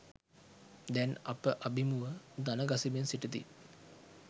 දැන් අප අබිමුව දණගසමින් සිටිති.